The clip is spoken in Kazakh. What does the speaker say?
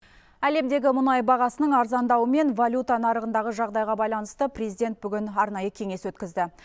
әлемдегі мұнай бағасының арзандауы мен валюта нарығындағы жағдайға байланысты президент бүгін арнайы кеңес өткізді